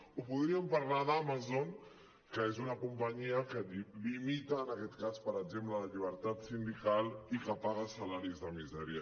o podríem parlar d’amazon que és una companyia que limita en aquest cas per exemple la llibertat sindical i que paga salaris de misèria